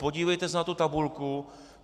Podívejte se na tu tabulku.